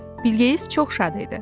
Bilqeyis çox şad idi.